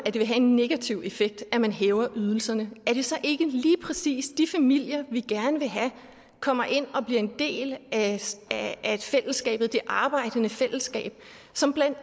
det vil have en negativ effekt at man hæver ydelserne er det så ikke lige præcis de familier vi gerne vil have kommer ind og bliver en del af fællesskabet det arbejdende fællesskab som blandt